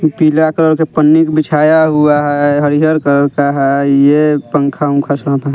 पीला कलर के पन्नी बिछाया हुआ है हरी हर कलर का है ये पंखा वंखा सब है।